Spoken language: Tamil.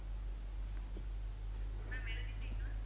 ma'am எழுதீட்டீங்களா?